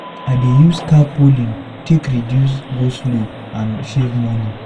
I dey use carpooling take reduce go slow and save money.